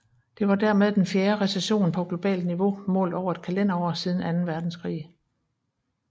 Det var dermed den fjerde recession på globalt niveau målt over et kalenderår siden anden verdenskrig